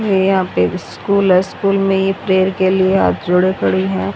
ये यहां पे स्कूल है स्कूल में ये प्रेयर के लिए हाथ जोड़े खड़ी हैं।